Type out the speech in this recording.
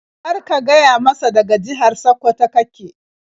Kar ka gaya masa daga jihar Sakkwato ka ke.